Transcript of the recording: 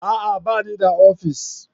A'a! Ba ni da ofis.